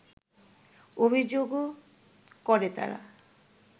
অভিযোগও করে তারা